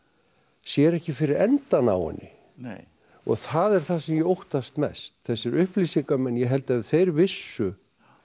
sér ekki fyrir endann á henni og það er það sem ég óttast mest þessir upplýsingamenn ég held að ef þeir vissu